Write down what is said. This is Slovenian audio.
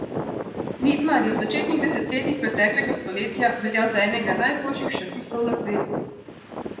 Vidmar je v začetnih desetletjih preteklega stoletja veljal za enega najboljših šahistov na svetu.